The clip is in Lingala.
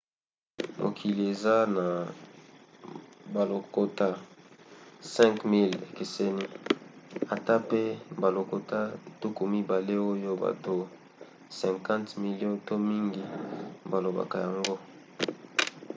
mokili eza na balokota 5 000 ekeseni ata pe balokota tuku mibale oyo bato 50 milio to mingi balobaka yango